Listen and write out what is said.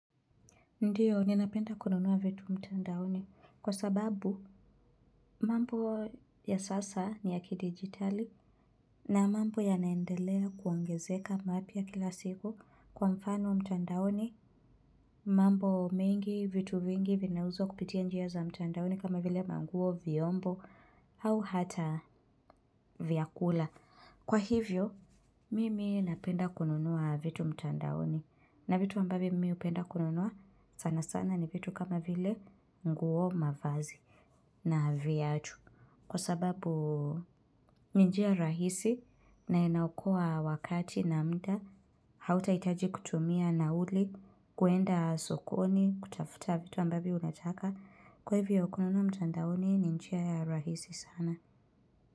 Ndiyo, ni napenda kununua vitu mtandaoni kwa sababu mambo ya sasa ni ya ki digitali na mambo ya naendelea kuongezeka mapya kila siku kwa mfano mtandaoni mambo mengi vitu vingi vinauzwa kupitia njia za mtandaoni kama vile manguo, vyombo au hata vyakula. Kwa hivyo, mimi napenda kununua vitu mtandaoni na vituambavyo mimi hupenda kununua sana sana ni vitu kama vile nguo mavazi na viatu. Kwa sababu, ninjia rahisi na inaokoa wakati na muda, hauta hitaji kutumia na uli, kwenda sokoni, kutafuta vitu ambavyo unataka. Kwa hivyo, kununua mtandaoni, ninjia rahisi sana.